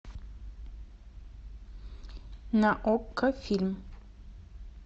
на окко фильм